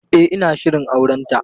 E, ina shirin aurenta.